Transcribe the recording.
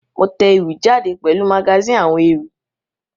Mo te ewì jáde pèlu magazine àwon ewì